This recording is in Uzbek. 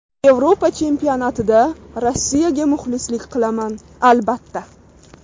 Yevropa Chempionatida Rossiyaga muxlislik qilaman, albatta.